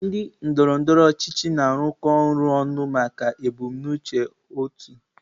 Ndị otu ndọrọ ndọrọ ọchịchị na-arụkọ ọrụ ọnụ maka ebumnuche otu.